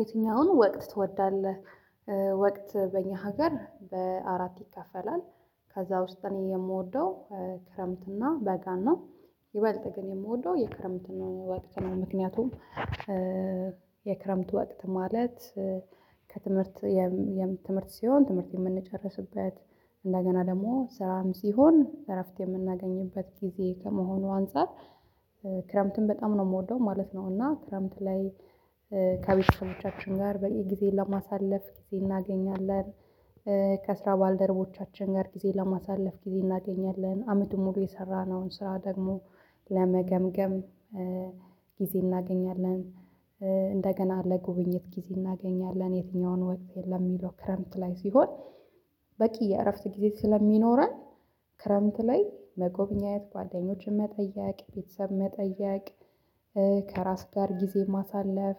የትኛውን ወቅት ትወዳለህ? ወቅት በእኛ ሀገር በአራት ይከፈላል ከዛ ውስጥ እኔ የምወደው ክረምትና በጋና ይበልጥ ግን የምወደው የክረምትን ወቅት ነው። ምክንያቱም የክረምት ወቅት ማለት ከትምህርት የም ትምህርት ሲሆን ትምህርት የምንጨርስበት እንደገና ደግሞ ስራንም ሲሆን እረፍት የምናገኝበት ጊዜ ከመሆኑ አንፃር ክረምትም በጣም ነው የምወደው ማለት ነው እና ክረምት ላይ ከቤተሰቦቻችን ጋር በየ ጊዜን ለማሳለፍ ጊዜ እናገኛለን ከስራ ባልደረቦቻችን ጋር ጊዜ ለማሳለፍ ጊዜ እናገኛለን አመት ሙሉ የሰራነውን ስራ ደግሞ ለመገምገም ጊዜ እናገኛለን እንደገና ለጉብኝት ጊዜ እናገኛለን። የትኛውን ወቅት የለም የሚለው ክረምት ላይ ሲሆን በቂ የእረፍት ጊዜ ስለሚኖረን ክረምት ላይ መጎብኜት ጓደኞችን መጠየቅ ቤተሰብ መጠየቅ ከራስ ጋር ጊዜ ማሳለፍ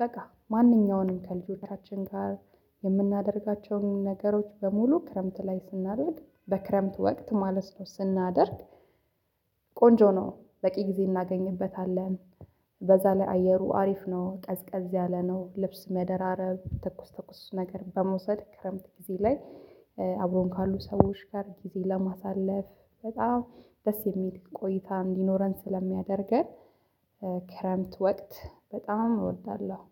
በቃ ማንኛውንም ከልጆቻችን ጋር የምናደርጋቸውን ነገሮች በሙሉ ክረምት ላይ ስናደርግ በክረምት ወቅት ማለት ነው ስናደርግ ቆንጆ ነው! በቂ ጊዜ እናገኝበታለን በዛ ላይ አየሩ አሪፍ ነው ቀዝቀዝ ያለነው ልብስ መደራረብ ተኩስ ተኩስ ነገር በመውሰድ ክረምት ጊዜ ላይ አብሮን ካሉ ሰዎች ጋር ጊዜ ለማሳለፍ በጣም ደስ የሚል ቆይታ እንዲኖረን ስለሚያደርገን ክረምት ወቅት በጣም እወዳለሁ